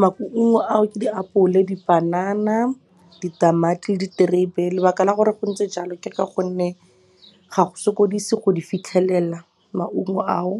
Maungo ao ke diapole, dipanana, ditamati le diterebe. Lebaka la gore go ntse jalo ke ka gonne ga go sokodise go di fitlhelela maungo ao.